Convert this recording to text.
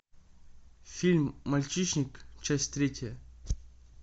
фильм мальчишник часть третья